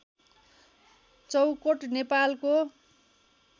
चौकोट नेपालको